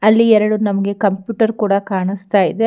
ಅಲ್ಲಿ ಎರಡು ನಮಗೆ ಕಂಪ್ಯೂಟರ್ ಕೂಡ ಕಾಣಿಸ್ತಾ ಇದೆ.